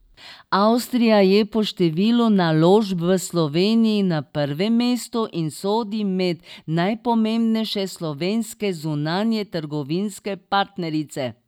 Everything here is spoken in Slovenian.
Avstrija je po številu naložb v Sloveniji na prvem mestu in sodi med najpomembnejše slovenske zunanjetrgovinske partnerice.